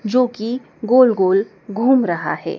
जोकि गोल गोल घूम रहा है।